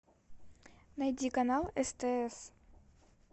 найди канал стс